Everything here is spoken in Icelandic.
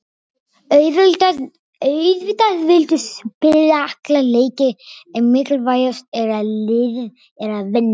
Auðvitað viltu spila alla leiki en mikilvægast er að liðið er að vinna.